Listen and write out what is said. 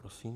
Prosím.